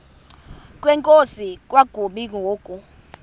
kwenkosi kwakumi ngoku